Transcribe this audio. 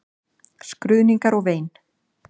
Skruðningar og vein.